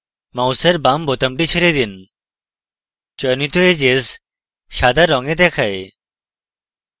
মাউসের বাম বোতামটি ছেড়ে দিন চয়নিত edges সাদা রঙে দেখায়